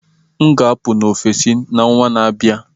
M ga-apụ na Ofịịsi n'ọnwa na-abịa